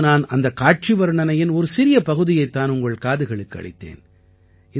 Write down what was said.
இப்போது நான் அந்தக் காட்சி வர்ணனையின் ஒரு சிறிய பகுதியைத் தான் உங்கள் செவிகளுக்கு அளித்தேன்